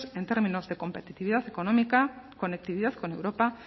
en términos de competitividad económica conectividad con europa